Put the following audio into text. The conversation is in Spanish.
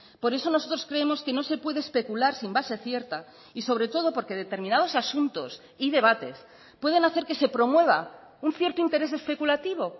por eso nosotros creemos que no se puede especular sin base cierta y sobre todo porque determinados asuntos y debates pueden hacer que se promueva un cierto interés especulativo